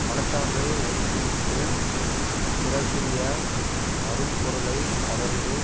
மனச்சான்றை ஒதுக்கிவிட்டுப் பிறர்க்குரிய அரும் பொருளை கவர்ந்து